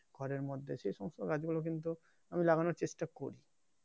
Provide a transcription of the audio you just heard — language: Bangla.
ঘরের মধ্যে আমি সে সমস্ত গাছ গুলো কিন্তু আমি লাগানোর চেষ্টা করছি